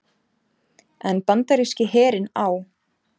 en bandaríski herinn á